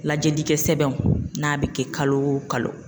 Lajɛlikɛ sɛbɛnw , n'a bɛ kɛ kalo o kalo.